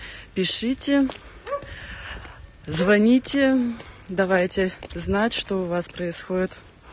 пишите звоните давайте знать что у вас происходит